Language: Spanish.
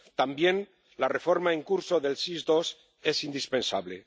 También la reforma en curso del SIS II es indispensable.